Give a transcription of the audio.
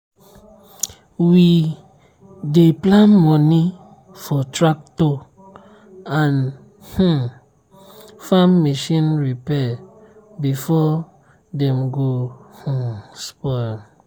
we dey plan money for tractor and um farm machine repair before dem go um spoil.